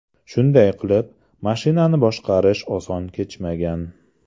Shunday qilib, mashinani boshqarish oson kechmagan.